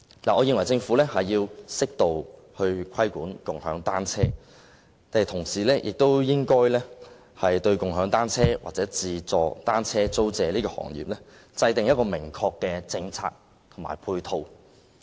我認為政府要適度規管"共享單車"，但同時亦應該就"共享單車"或"自助單車租借"行業，制訂明確的政策及配套。